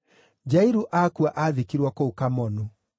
Jairu akua aathikirwo kũu Kamonu.